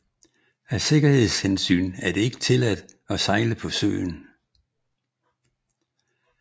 Af sikkerhedshensyn er det ikke tilladt at sejle på søen